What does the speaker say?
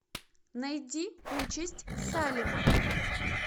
найди участь салема